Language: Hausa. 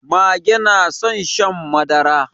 Mage na son shan madara.